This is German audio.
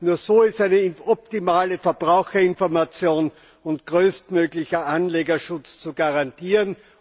Nur so ist eine optimale Verbraucherinformation und größtmöglicher Anlegerschutz zu garantieren.